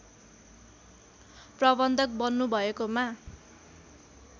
प्रबन्धक बन्नुभएकोमा